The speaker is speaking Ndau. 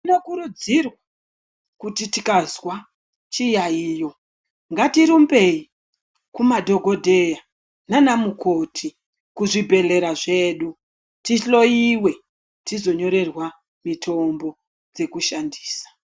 Tinokurudzirwa kuti tikazwa chiyaiyo, ngatirumbei kumadhokodheya naanamukoti, kuzvibhedhlera zvedu, tihloiwe tizonyorerwa mitombo dzekushandisa.